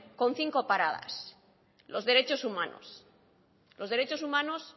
en cinco paradas los derechos humanos los derechos humanos